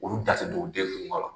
Olu da tɛ don u den furu kuma la.